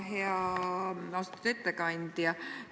Hea austatud ettekandja!